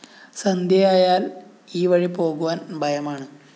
സന്ധ്യയായാല്‍ ഈ വഴി പോകുവാന്‍ ഭയമാണ്